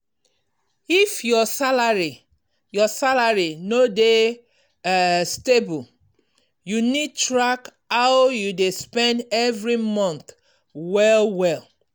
if your salary your salary no dey um stable you need track how you dey spend every month well well.